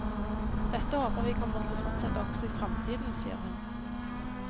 Dette håper vi kommer til å fortsette også i framtiden, sier hun.